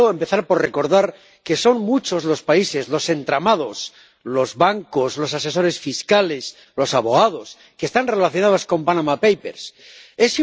Quiero empezar por recordar que son muchos los países, los entramados, los bancos, los asesores fiscales, los abogados que están relacionados con los papeles de Panamá.